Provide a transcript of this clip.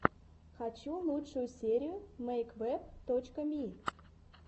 хочу лучшую серию мэйквэб точка ми